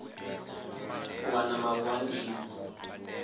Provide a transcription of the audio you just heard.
u wana mavu a ndimo